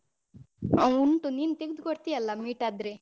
ಅ ಉಂಟು ನೀನು ತೆಗದುಕೊಡ್ತಿಯಲ್ಲ meet ಆದ್ರೆ.